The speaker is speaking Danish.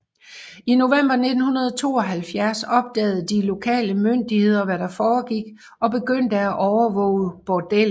I november 1972 opdagede de lokale myndigheder hvad der foregik og begyndte at overvåge bordellet